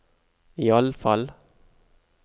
iallfall